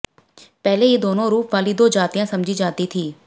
पहले ये दोनों रूपवाली दो जातियाँ समझी जाती थीं